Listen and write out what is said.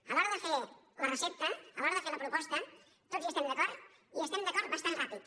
a l’hora de fer la recepta a l’hora de fer la proposta tots hi estem d’acord i hi estem d’acord bastant ràpid